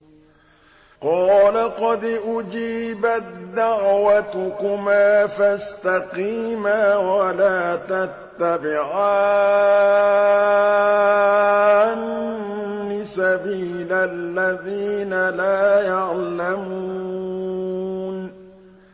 قَالَ قَدْ أُجِيبَت دَّعْوَتُكُمَا فَاسْتَقِيمَا وَلَا تَتَّبِعَانِّ سَبِيلَ الَّذِينَ لَا يَعْلَمُونَ